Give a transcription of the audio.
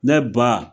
Ne ba